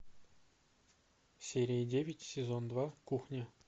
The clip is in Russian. серия девять сезон два кухня